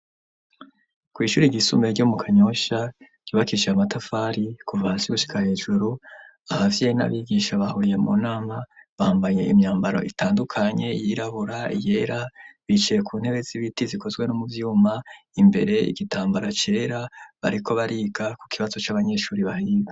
Kw'ishure ryisumbuye ryo mu Kanyosha ryubakishije amatafari kuva hasi gushika hejuru, abavyeyi n'abigisha bahuriye mu nama, bambaye imyambaro itandukanye iyirabura, iyera, bicaye ku ntebe z'ibiti zikozwe no mu vyuma, imbere igitambara cera, bariko bariga ku kibazo c'abanyeshure bahiga.